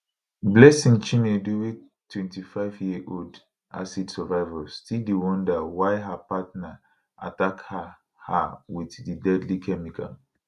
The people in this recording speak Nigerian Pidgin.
blessing chinedu wey 25 year old acid survivor still dey wonder why her partner attack her her wit di deadly chemical